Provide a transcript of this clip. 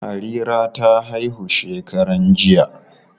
Harira ta haihu shekaran jiya.